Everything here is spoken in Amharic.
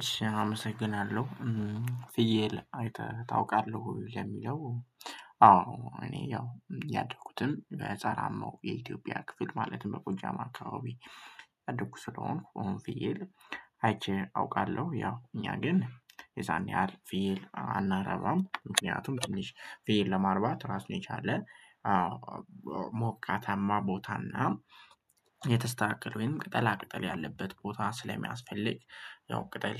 እሺ አመሰግናለሁ ፍየል አይተህ ታውቃለህ ወይ? ለሚለው አወ እኔ ያው ያደኩትም ገጠራማው የኢትዮጵያ ክፍል ማለትም ጎጃም አካባቢ ያድርጉ ስለሆንኩ ፍየል አይቼ አውቃለሁ። ያው እኛ ግን የዛን ያህል ፍየል አናረባም ምክንያቱም ትንሽ ፍየል ለማርባት ራሱን የቻለ። ሞቃታማ ቦታና የተስተካከለ ወይም ቅጠላ ቅጠል ያለበት ቦታ ስለሚያስፈልግ። ያው ቅጠል